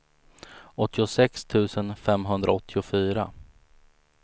åttiosex tusen femhundraåttiofyra